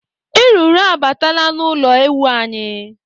Eruru abataala n'ụlọ ewu anyị.